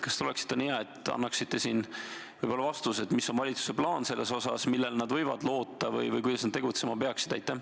Kas te oleksite nii hea ja annaksite vastuse, mis on valitsuse plaan, millele nad võivad loota või kuidas nad tegutsema peaksid?